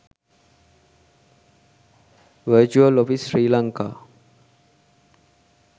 virtual office sri lanka